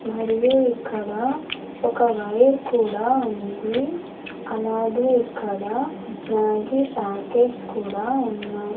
మరియు ఇక్కడ ఒక వైర్ కూడా ఉంది అలాగే ఇక్కడ మ్యాగీ ప్యాకెట్స్ కూడా ఉన్నాయ్.